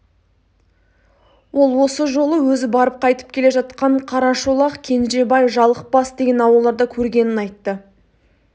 ол осы жолы өзі барып қайтып келе жатқан қарашолақ кенжебай жалықбас деген ауылдарда көргенін айтты